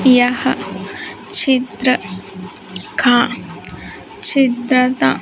यहा चित्र का चित्रता--